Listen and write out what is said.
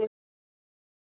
Eiga þau tvo syni.